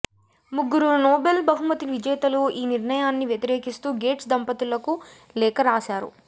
ముగ్గురు నోబెల్ బహుమతి విజేతలు ఈ నిర్ణయాన్ని వ్యతిరేకిస్తూ గేట్స్ దంపతులకు లేఖ రాశారు